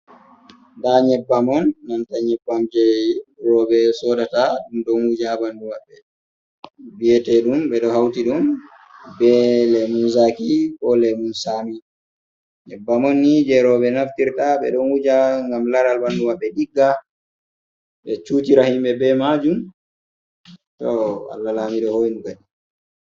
Nɗa nyebbam on nanta nyebbam je robe sodata dum donguja banduma be biyetedum be do hauti dum bele muzaki kole mum sami nyebbamon ni je robe naftirta be donguja gam laral banduma be digga be chutira himbe be majum to wala lamide honugadi.